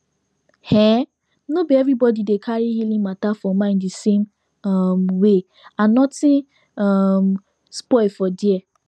um no be everybody dey carry healing matter for mind the same um way and nothing um spoil for there